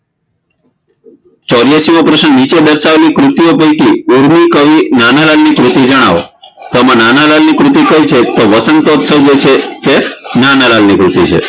ચોર્યાશીમો પ્રશ્ન નીચે દર્શાવેલી કૃતિઓ પૈકી ઉર્દૂકવિ નાનાલાલ ની કૃતિ જણાવો તો આમાં નાનાલાલની કૃતિ કઈ છે વસંતોત્સવ જે છે એ નાનાલાલની કૃતિ છે